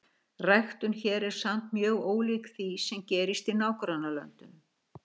Ræktun hér er samt mjög ólík því, sem gerist í nágrannalöndunum.